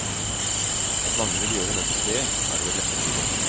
At mange vil gjøre nettopp det, er det vel neppe tvil om.